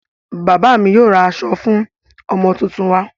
Bàbá mi yóò ra aṣọ fún ọmọ tuntun wa.